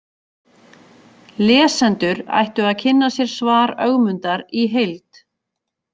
Lesendur ættu að kynna sér svar Ögmundar í heild.